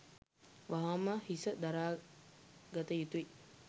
වහාම හිස දරාගත යුතුයි.